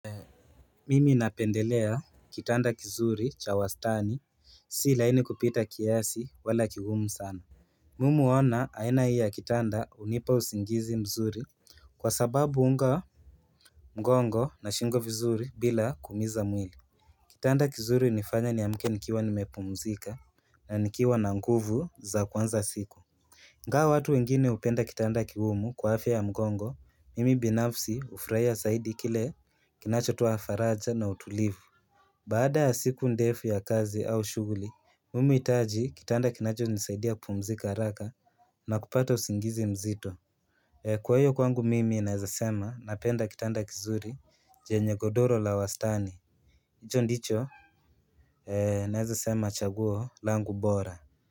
Mimi napendelea kitanda kizuri cha wastani si laini kupita kiasi wala kigumu sana Mimi huona aina hii ya kitanda unipa usingizi mzuri kwa sababu huunga mgongo na shingo vizuri bila kumiza mwili Kitanda kizuri nifanya ni amke nikiwa nimepumzika na nikiwa na nguvu za kwanza siku inga watu wengine hupenda kitanda kigumu kwa afya ya mgongo mimi binafsi ufurahiya aidi kile kinacho toa faraja na utulivu Bada siku ndefu ya kazi au shuguli, mumu itaji kitanda kinacho nisaidia kumzika haraka na kupata usingizi mzito Kwa hiyo kwangu mimi naezasema napenda kitanda kizuri jenye godoro la wastani, icho ndicho Naezasema chaguo langu bora.